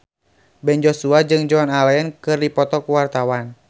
Ben Joshua jeung Joan Allen keur dipoto ku wartawan